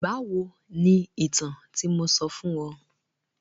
Báwo ni ìtàn tí mo sọ fún ọ?